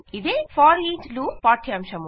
ఇదే foreach loop పాఠ్యాంశము